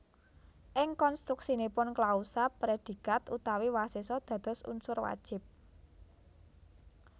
Ing konstruksinipun klausa predikat utawi wasesa dados unsur wajib